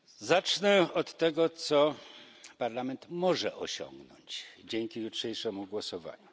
Zacznę od tego, co Parlament może osiągnąć dzięki jutrzejszemu głosowaniu.